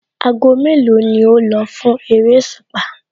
Aago mélòó ni o lọ fún eréṣùpá?